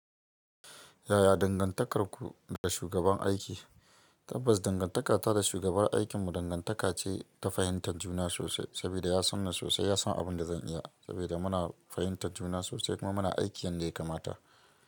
Yaya dangantakarku da shugaban aiki? Tabbas, dangantakata da shugabar aikinmu dangantaka ce ta fahimtar juna sosai, sabida ya san ni sosai, ya san abin da zan iya. Sabida muna fahimtar juna sosai kuma muna aiki yanda ya kamata.